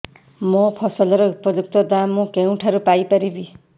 ମୋ ଫସଲର ଉପଯୁକ୍ତ ଦାମ୍ ମୁଁ କେଉଁଠାରୁ ପାଇ ପାରିବି